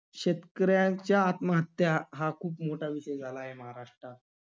शेतकऱ्यांच्या आत्महत्या हा खूप मोठा विषय झाला आहे महाराष्ट्रात.